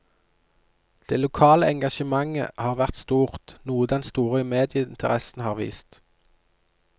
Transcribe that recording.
Det lokale engasjementet har vært stort, noe den store medieinteressen har vist.